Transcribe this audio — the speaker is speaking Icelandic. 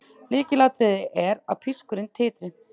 Lykilatriði er að pískurinn titri.